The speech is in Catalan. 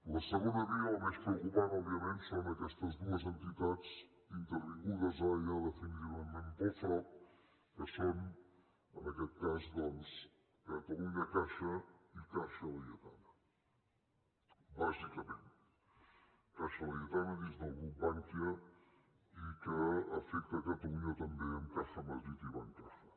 la segona via la més preocupant òbviament són aquestes dues entitats intervingudes ara ja definitivament pel frob que són en aquest cas doncs catalunyacaixa i caixa laietana bàsicament caixa laietana dins del grup bankia i que afecta catalunya amb caja madrid i bancaja